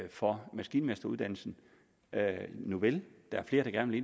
for maskinmesteruddannelsen nuvel der er flere der gerne